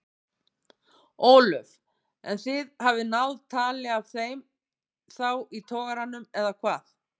Ólöf: En þið hafið náð tali af þeim þá í togaranum eða hvað?